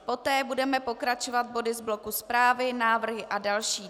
Poté budeme pokračovat body z bloku zprávy, návrhy a další.